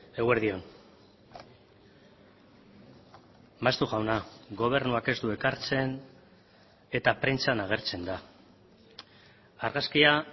eguerdi on maeztu jauna gobernuak ez du ekartzen eta prentsan agertzen da argazkia